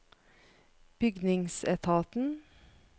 bygningsetaten